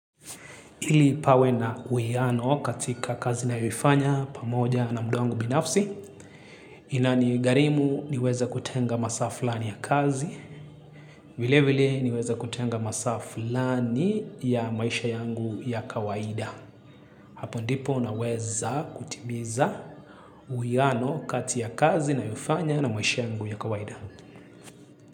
Ili pawe na uiano katika kazi nayofanya pamoja na muduwangu binafsi. Inani gharimu niweza kutenga masaa flani ya kazi. Vile vile niweza kutenga masaa flani ya maisha yangu ya kawaida. Hapo ndipo na weza kutimiza uiano katika kazi na yofanya na maisha yangu ya kawaida.